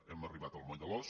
hem arribat al moll de l’os